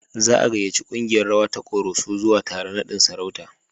Za a gayyaci kungiyar rawa ta Koroso zuwa taron naɗin sarauta.